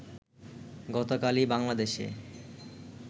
গতকালই বাংলাদেশে